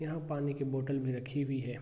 यहाँ पानी के बोतल भी रखी हुई हैं।